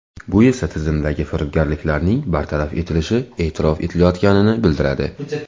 Bu esa tizimdagi firibgarliklarning bartaraf etilishi e’tirof etilayotganini bildiradi.